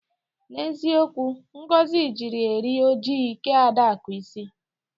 N'eziokwu Ngozi jiri eri ojii kee Adaku isi.